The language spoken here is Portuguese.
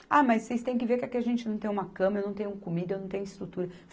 Ah, mas vocês tem que ver que aqui a gente não tem uma cama, eu não tenho comida, eu não tenho estrutura.